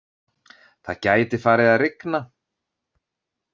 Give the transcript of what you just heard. Það gæti farið að rigna